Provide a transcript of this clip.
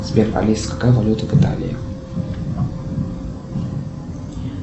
сбер алиса какая валюта в италии